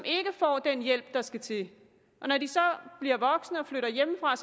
ikke får den hjælp der skal til og når de så bliver voksne og flytter hjemmefra